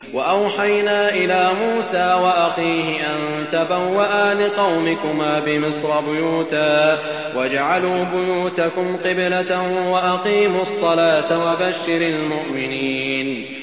وَأَوْحَيْنَا إِلَىٰ مُوسَىٰ وَأَخِيهِ أَن تَبَوَّآ لِقَوْمِكُمَا بِمِصْرَ بُيُوتًا وَاجْعَلُوا بُيُوتَكُمْ قِبْلَةً وَأَقِيمُوا الصَّلَاةَ ۗ وَبَشِّرِ الْمُؤْمِنِينَ